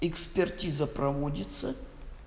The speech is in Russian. экспертиза проводится